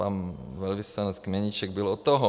Pan velvyslanec Kmoníček byl u toho.